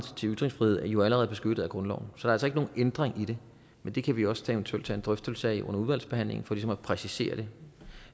til ytringsfrihed jo allerede er beskyttet af grundloven så altså ikke nogen ændring i det men det kan vi også eventuelt tage en drøftelse af under udvalgsbehandlingen for ligesom at præcisere det